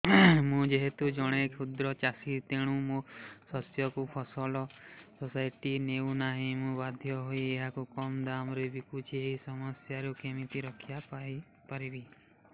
ମୁଁ ଯେହେତୁ ଜଣେ କ୍ଷୁଦ୍ର ଚାଷୀ ତେଣୁ ମୋ ଶସ୍ୟକୁ ଫସଲ ସୋସାଇଟି ନେଉ ନାହିଁ ମୁ ବାଧ୍ୟ ହୋଇ ଏହାକୁ କମ୍ ଦାମ୍ ରେ ବିକୁଛି ଏହି ସମସ୍ୟାରୁ କେମିତି ରକ୍ଷାପାଇ ପାରିବି